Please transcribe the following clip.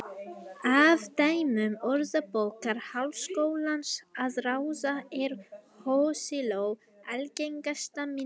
Af dæmum Orðabókar Háskólans að ráða er hosiló algengasta myndin.